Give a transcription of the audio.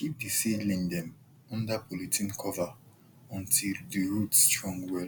keep di seedling dem under polythene cover until di root strong well